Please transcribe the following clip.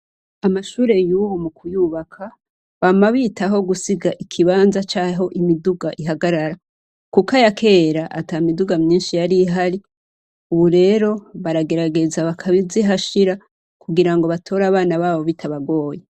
Amashure yubu mu kuyubaka, bama bitaho gusiga ikibanza c'aho imiduga ihagarara kuko aya kera ata miduga myinshi yari ihari. Ubu rero, baragerageza bakazihashira kugira ngo batore abana babo bitabagoye.